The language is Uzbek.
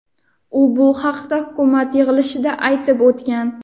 U bu haqda hukumat yig‘ilishida aytib o‘tgan.